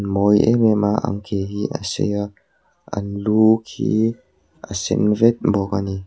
a mawi em em a an ke hi a sei a an lu khi a sen vek bawk ani.